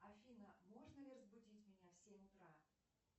афина можно ли разбудить меня в семь утра